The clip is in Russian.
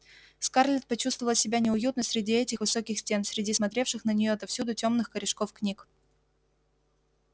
скарлетт почувствовала себя неуютно среди этих высоких стен среди смотревших на неё отовсюду тёмных корешков книг